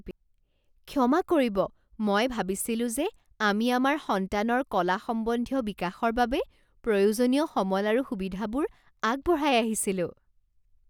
ক্ষমা কৰিব? মই ভাবিছিলো যে আমি আমাৰ সন্তানৰ কলা সম্বন্ধীয় বিকাশৰ বাবে প্ৰয়োজনীয় সমল আৰু সুবিধাবোৰ আগবঢ়াই আহিছিলো।